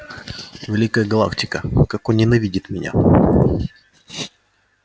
великая галактика как он ненавидит меня